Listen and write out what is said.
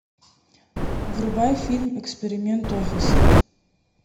врубай фильм эксперимент офис